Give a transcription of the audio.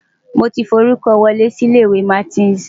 Mo ti forúkọ wọlé sí ilé-ìwé Martins.